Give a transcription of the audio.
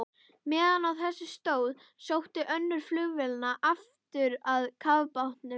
Meðan á þessu stóð, sótti önnur flugvélanna aftur að kafbátnum.